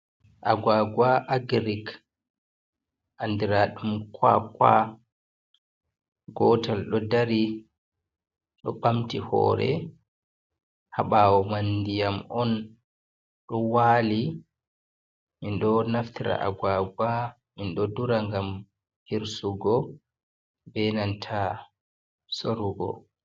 aguwaguwa agirik, anndiraaɗum kuwakuwa gootal, ɗo dari ɗo ɓamti hoore, haa ɓaawo may, ndiyam on ɗo waali. Min ɗo naftira aguwaga, min ɗo dura ngam hirsugo, be nanta soorugo.